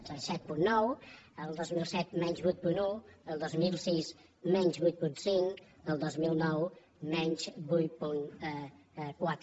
set coma nou el dos mil set menys vuit coma un el dos mil sis menys vuit coma cinc el dos mil nou menys vuit coma quatre